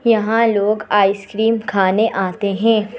यहां लोग आइसक्रीम खाने आते हैं।